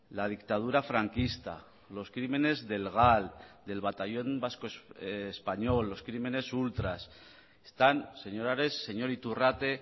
la dictadura franquista los crímenes del gal del batallón vasco español los crímenes ultras están señor ares señor iturrate